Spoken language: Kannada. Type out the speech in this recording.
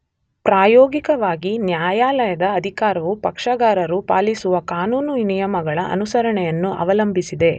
ಪ್ರಾಯೋಗಿಕವಾಗಿ ನ್ಯಾಯಾಲಯದ ಅಧಿಕಾರವು ಪಕ್ಷಗಾರರು ಪಾಲಿಸುವ ಕಾನೂನು ನಿಯಮಗಳ ಅನುಸರಣೆಯನ್ನು ಅವಲಂಬಿಸಿದೆ